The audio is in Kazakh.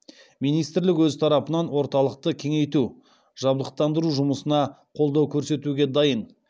министрлік өз тарапынан орталықты кеңейту жабдықтандыру жұмысына қолдау көрсетуге дайын